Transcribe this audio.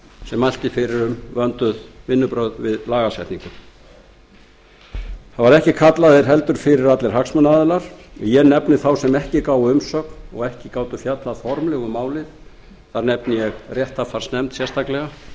sem mælti fyrir um vönduð vinnubrögð við lagasetningu það voru ekki kallaðir heldur fyrir allir hagsmunaaðilar og ég nefni þá sem ekki gáfu umsögn og ekki gátu fjallað formlega um málið þar nefni ég réttarfarsnefnd sérstaklega